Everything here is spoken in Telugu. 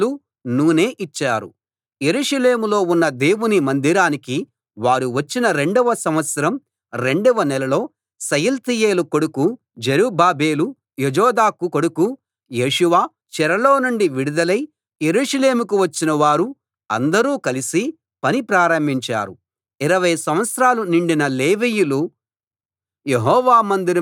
యెరూషలేములో ఉన్న దేవుని మందిరానికి వారు వచ్చిన రెండవ సంవత్సరం రెండవ నెలలో షయల్తీయేలు కొడుకు జెరుబ్బాబెలు యోజాదాకు కొడుకు యేషూవ చెరలో నుండి విడుదలై యెరూషలేముకు వచ్చిన వారు అందరూ కలిసి పని ప్రారంభించారు ఇరవై సంవత్సరాలు నిండిన లేవీయులు యెహోవా మందిరం కట్టే పనికి నియమితులయ్యారు